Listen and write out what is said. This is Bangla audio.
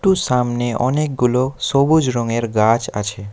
একটু সামনে অনেকগুলো সবুজ রঙের গাছ আছে।